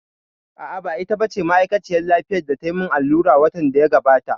A'a, ba ita ba ce ma'aikaciyar lafiyar da tayi mun allura watan da ya gabata